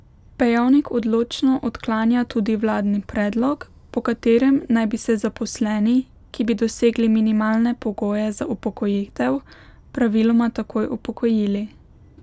Pejovnik odločno odklanja tudi vladni predlog, po katerem naj bi se zaposleni, ki bi dosegli minimalne pogoje za upokojitev, praviloma takoj upokojili.